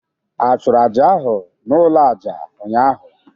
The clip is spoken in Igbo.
Ị chụrụ Àjà ahụ n'ụlọ àjà ụnyaahụ?